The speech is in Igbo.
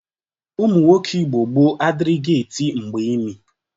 Ụmụnwoke Igbo gboo adịrịghị eti mgba imi.